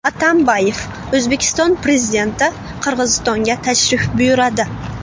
Atambayev: O‘zbekiston Prezidenti Qirg‘izistonga tashrif buyuradi.